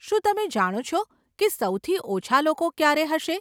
શું તમે જાણો છો કે સૌથી ઓછાં લોકો ક્યારે હશે?